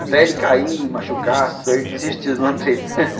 Até ele cair, machucar, ele desistiu da lambreta.